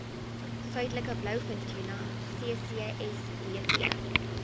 suidelike blouvintuna ccsbt